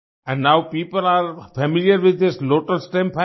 and now people are familiar with this lotus stem fibre